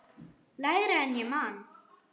Lægra en ég man.